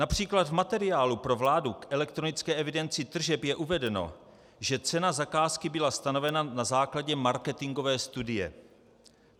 Například v materiálu pro vládu k elektronické evidenci tržeb je uvedeno, že cena zakázky byla stanovena na základě marketingové studie.